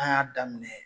An y'a daminɛ